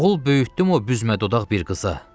Oğul böyütdüm o büzmə dodaq bir qıza.